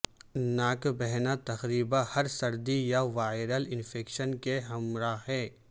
ناک بہنا تقریبا ہر سردی یا وائرل انفیکشن کے ہمراہ ہے